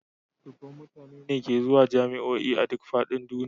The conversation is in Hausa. Dubban mutane ne ke zuwa jami'o'i a duk fadin duniya